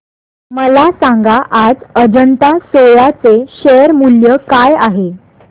मला सांगा आज अजंता सोया चे शेअर मूल्य काय आहे